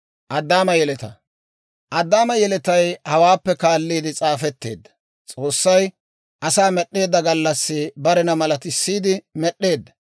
Addaama yeletay hawaappe kaalliide s'aafetteedda. S'oossay asaa med'd'eedda gallassi barena malatisiidde med'd'eedda.